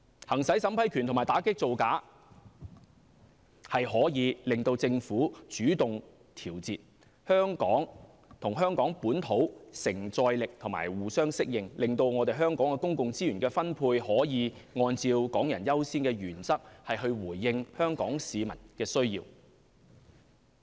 行使審批權和打擊造假，可令政府主動調節，與香港本土承載力互相適應，令香港的公共資源分配可以按港人優先原則，回應香港市民的需要。